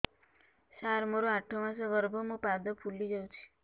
ସାର ମୋର ଆଠ ମାସ ଗର୍ଭ ମୋ ପାଦ ଫୁଲିଯାଉଛି